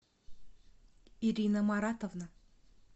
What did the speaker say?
ирина маратовна